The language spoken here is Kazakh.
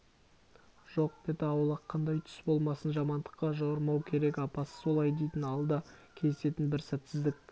жоқ беті аулақ қандай түс болмасын жамандыққа жорымау керек апасы солай дейтін алда кездесетін бір сәтсіздік